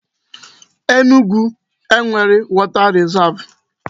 Enugu enwere water risav?